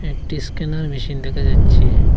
একটি scanner machine দেখা যাচ্ছে।